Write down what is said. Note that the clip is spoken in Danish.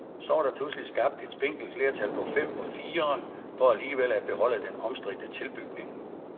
Så var der pludselig skabt et spinkelt flertal på fem mod fire for alligevel at beholde den omstridte tilbygning.